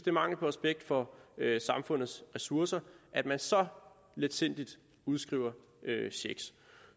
er mangel på respekt for samfundets ressourcer at man så letsindigt udskriver checks